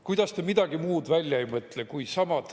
Kuidas te midagi muud välja ei mõtle?